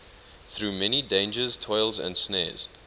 through many dangers toils and snares